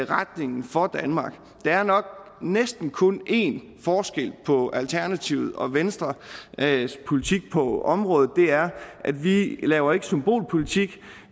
retningen for danmark der er nok næsten kun én forskel på alternativets og venstres politik på området og det er at vi laver symbolpolitik at